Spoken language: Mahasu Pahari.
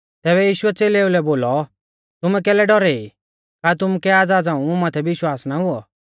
तैबै यीशुऐ च़ेलेऊ लै बोलौ तुमै कैलै डौरै ई का तुमुकै आज़ा झ़ांऊ मुं माथै विश्वास ना हुऔ